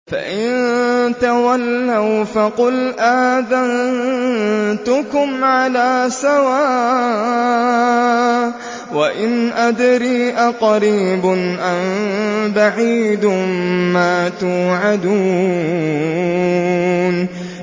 فَإِن تَوَلَّوْا فَقُلْ آذَنتُكُمْ عَلَىٰ سَوَاءٍ ۖ وَإِنْ أَدْرِي أَقَرِيبٌ أَم بَعِيدٌ مَّا تُوعَدُونَ